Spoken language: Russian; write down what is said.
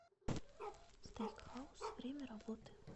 стейк хаус время работы